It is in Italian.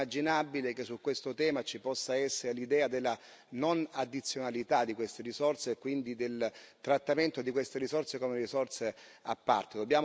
È inimmaginabile che su questo tema ci possa essere l'idea della non addizionalità di queste risorse e quindi del trattamento di queste risorse come risorse a parte.